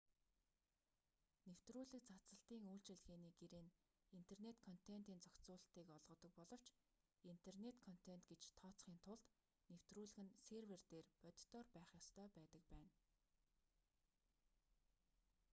нэвтрүүлэг цацалтын үйлчилгээний гэрээ нь интернэт контентын зохицуулалтыг олгодог боловч интернэт контент гэж тооцохын тулд нэвтрүүлэг нь сервер дээр бодитоор байх ёстой байдаг байна